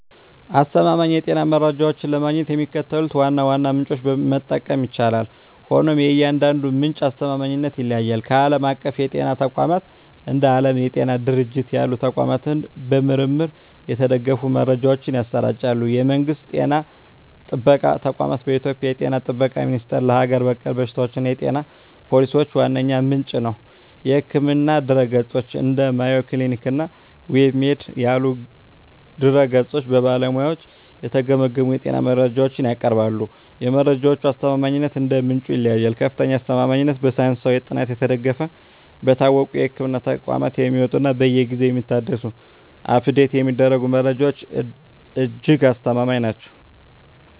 አስተማማኝ የጤና መረጃዎችን ለማግኘት የሚከተሉትን ዋና ዋና ምንጮች መጠቀም ይቻላል፤ ሆኖም የእያንዳንዱ ምንጭ አስተማማኝነት ይለያያል። ዓለም አቀፍ የጤና ተቋማት፦ እንደ ዓለም የጤና ድርጅት (WHO) ያሉ ተቋማት በምርምር የተደገፉ መረጃዎችን ያሰራጫሉ። የመንግስት ጤና ጥበቃ ተቋማት፦ በኢትዮጵያ የ ጤና ጥበቃ ሚኒስቴር ለሀገር በቀል በሽታዎችና የጤና ፖሊሲዎች ዋነኛ ምንጭ ነው። የሕክምና ድረ-ገጾች፦ እንደ Mayo Clinic እና WebMD ያሉ ድረ-ገጾች በባለሙያዎች የተገመገሙ የጤና መረጃዎችን ያቀርባሉ። የመረጃዎቹ አስተማማኝነት እንደ ምንጩ ይለያያል፦ ከፍተኛ አስተማማኝነት፦ በሳይንሳዊ ጥናት የተደገፉ፣ በታወቁ የሕክምና ተቋማት የሚወጡ እና በየጊዜው የሚታደሱ (Update የሚደረጉ) መረጃዎች እጅግ አስተማማኝ ናቸው።